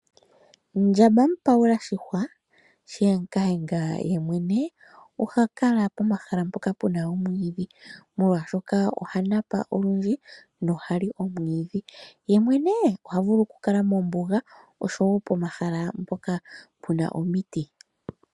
Ndjamba mu payula shihwa shiyengayenga yemwene oha kala pomahala mpoka pena omwiidhi ,molwaashoka oha napa olundji nohali omwiidhi, ye mwene ohavulu okukala mombuga osho wo pomahala mpoka pena omiti.